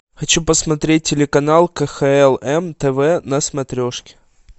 хочу посмотреть телеканал кхл м тв на смотрешке